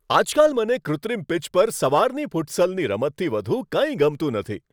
આજકાલ મને કૃત્રિમ પિચ પર સવારની ફુટસલની રમતથી વધુ કંઈ ગમતું નથી.